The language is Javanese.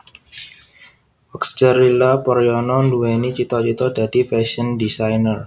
Oxcerila Paryana nduwèni cita cita dadi fashion designer